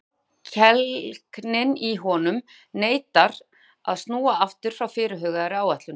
En þrákelknin í honum neitar að snúa aftur frá fyrirhugaðri áætlun.